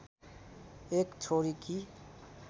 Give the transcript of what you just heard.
एक छोरीकी